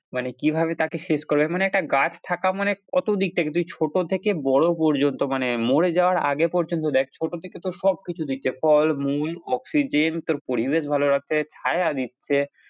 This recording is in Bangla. মানে কিভাবে তাকে শেষ করবে মানে একটা গাছ থাকা মানে কতদিক থেকে তুই ছোট থেকে বড়ো পর্যন্ত মানে মরে যাওয়ার আগে পর্যন্ত দেখ ছোট থেকে তো সবকিছু দিচ্ছে ফল, মূল oxygen তোর পরিবেশ ভালো রাখছে ছায়া দিচ্ছে।